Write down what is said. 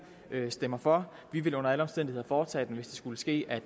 ville stemme for vi vil under alle omstændigheder foretage den hvis det skulle ske at